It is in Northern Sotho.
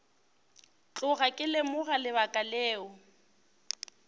tloga ke lemoga lebaka leo